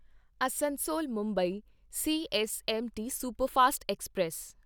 Asansol Mumbai CSMT superfast express